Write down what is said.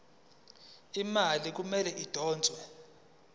imali kumele idonswe